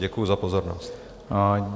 Děkuji za pozornost.